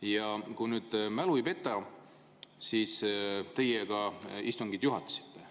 Ja kui nüüd mu mälu mind ei peta, siis teie juhatasite